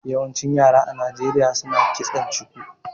Yawancin yare a Nijeriya suna kitson chuku